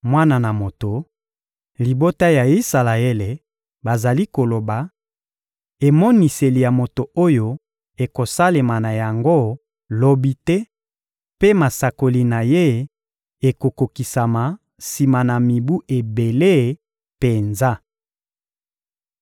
«Mwana na moto, libota ya Isalaele bazali koloba: ‹Emoniseli ya moto oyo ekosalema na yango lobi te mpe masakoli na ye ekokokisama sima na mibu ebele penza.›